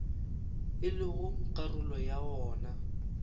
e lego karolo ya wona